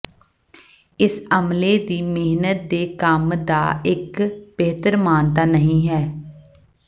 ਇਸ ਅਮਲੇ ਦੀ ਮਿਹਨਤ ਦੇ ਕੰਮ ਦਾ ਇੱਕ ਬਿਹਤਰ ਮਾਨਤਾ ਨਹੀ ਹੈ